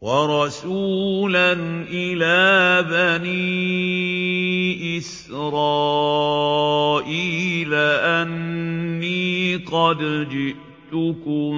وَرَسُولًا إِلَىٰ بَنِي إِسْرَائِيلَ أَنِّي قَدْ جِئْتُكُم